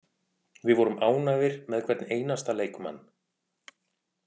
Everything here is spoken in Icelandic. Við vorum ánægðir með hvern einasta leikmann.